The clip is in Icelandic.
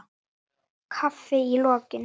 Kaffi í lokin.